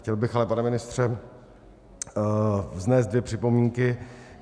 Chtěl bych ale, pane ministře, vznést dvě připomínky.